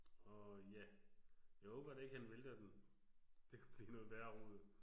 Og ja. Jeg håber da ikke han vælter den. Det kunne blive noget værre rod